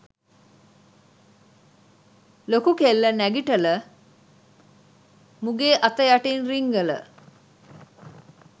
ලොකු කෙල්ල නැඟිටල මුගේ අත යටින් රිංගල